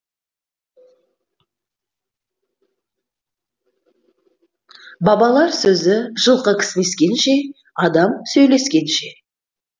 бабалар сөзі жылқы кісінескенше адам сөйлескенше